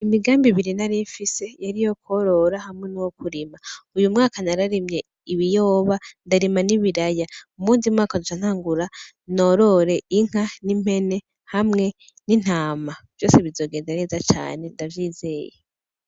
Imigambi biri narimfise yari yo kworora hamwe n'uwo kurima uyu mwaka nararimye ibiyoba ndarima nibiraya muwundi mwaka zonca ntangura norore inka n'impene hamwe n'intama vyose bizogenda neza cane ndavyizeye.